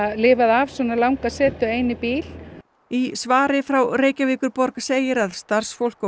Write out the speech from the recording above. lifað af svona langa setu ein í bíl í svari frá Reykjavíkurborg segir að starfsfólk og